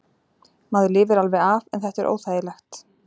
Maður lifir alveg af en þetta er óþægilegt.